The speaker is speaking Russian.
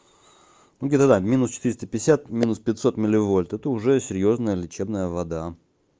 где-то да минус четыреста пятьдесят минус пятьсот милливольт это уже серьёзная лечебная вода